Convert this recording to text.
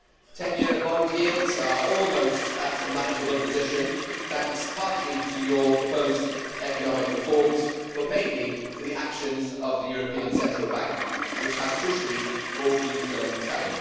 10 year bond yields are almost at a manageable position thanks partly to your proposed economic reforms, but mainly to the actions of the European Central Bank, which has crucially bought you some time.